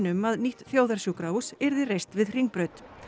um að nýtt þjóðarsjúkrahús yrði reist við Hringbraut